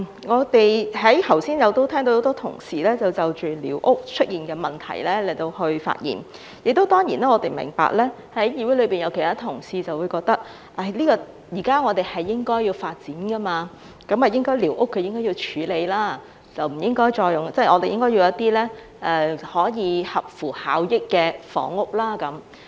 我剛才聽到很多同事就着寮屋出現的問題發言，當然我們明白，議會內會有其他同事認為，現在社會應該要發展，寮屋是應該處理的，應該興建一些合乎效益的房屋。